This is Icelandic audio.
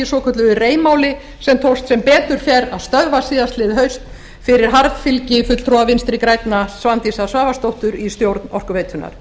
svokölluðu rei máli sem tókst sem betur fer að stöðva síðastliðið haust fyrir harðfylgi fulltrúa vinstri grænna svandísar svavarsdóttur í stjórn orkuveitunnar